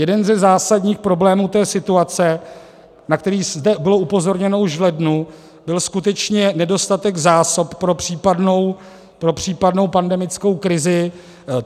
Jeden ze zásadních problémů té situace, na který zde bylo upozorněno už v lednu, byl skutečně nedostatek zásob pro případnou pandemickou krizi.